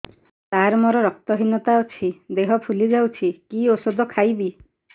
ସାର ମୋର ରକ୍ତ ହିନତା ଅଛି ଦେହ ଫୁଲି ଯାଉଛି କି ଓଷଦ ଖାଇବି